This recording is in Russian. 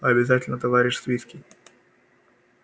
обязательно товарищ свицкий